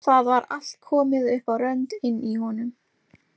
Það var allt komið upp á rönd inni í honum!